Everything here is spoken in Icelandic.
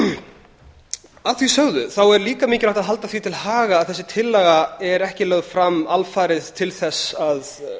nauðsynlegt að því sögðu þá er líka mikilvægt að halda því til haga að þessi tillaga er ekki lögð fram alfarið til þess að